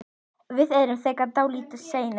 Við erum þegar dálítið seinir.